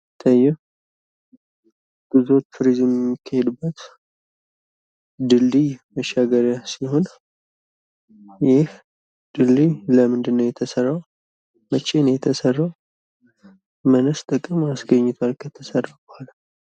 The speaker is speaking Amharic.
እሂ ጉዞ፣ ቱሪዝም የሚካሄድበት መሻገሪያ ድልድይ ሲሆን ይህ ድልድይ ለምንድን ነው የተሰራው? መቸ ነው የተሰራው? ምንስ ጥቅም አስገኘ ከተሰራ በኋላ?